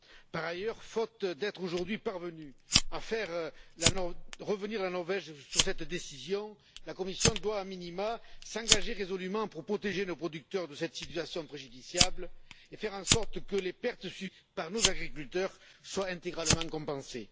Par ailleurs, faute d'être aujourd'hui parvenue à faire revenir la Norvège sur cette décision, la Commission doit a minima s'engager résolument pour protéger nos producteurs de cette situation préjudiciable et faire en sorte que les pertes subies par nos agriculteurs soient intégralement compensées.